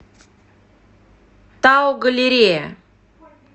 тау галерея